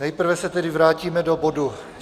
Nejprve se tedy vrátíme do bodu